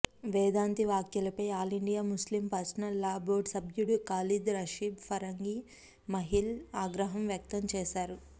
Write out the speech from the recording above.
వేదాంతి వ్యాఖ్యలపై all India Muslim personal law board సభ్యుడు ఖాలిద్ రషీద్ ఫరంగి మహిల్ ఆగ్రహం వ్యక్తం చేశారు